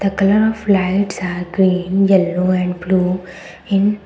the colour of lights are green yellow and blue in --